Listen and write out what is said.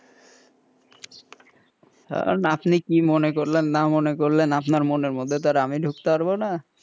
ওহ আপনি কি মনে করলেন না মনে করলেন আপনার মনের মধ্যে তো আমি ঢুকতারবো না,